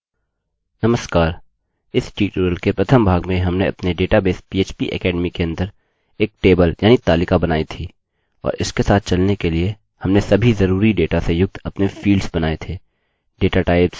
नमस्कार इस ट्यूटोरियल के प्रथम भाग में हमने अपने डेटाबेस php academy के अंदर एक टेबल यानि तालिका बनाई थी और इसके साथ चलने के लिए हमने सभी ज़रूरी डेटा से युक्त अपने फील्ड्स बनाये थे datatypes इत्यादि